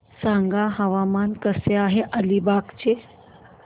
सांगा हवामान कसे आहे अलिबाग चे